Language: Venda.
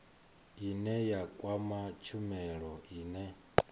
ine ya kwama tshumelo ine